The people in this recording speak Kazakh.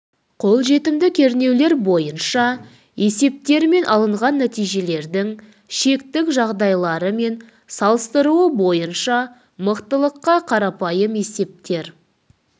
қолжетімді кернеулер бойынша есептермен алынған нәтижелердің шектік жағдайлары мен салыстыруы бойынша мықтылыққа қарапайым есептер